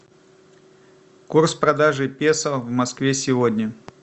курс продажи песо в москве сегодня